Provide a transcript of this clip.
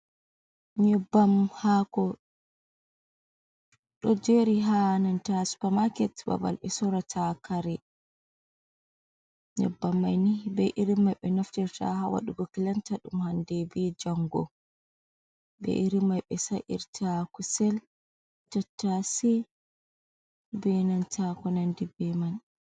Nyebam haako, ɗo jeeri haa nanta supamaaket babal ɓe sorrata kare, nyebbam mai ni bee iri mai ɓe naftirta haa waɗugo kilanta ɗum hannde bee janngo, bee iri mai ɓe sa’irta kusel, tattashe bee nanta ko nanndi bee man.